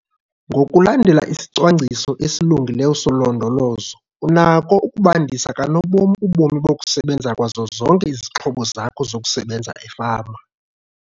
Ngokulandela isicwangciso esilungileyo solondolozo unako ukubandisa kanobom ubomi bokusebenza kwazo zonke izixhobo zakho zokusebenza efama.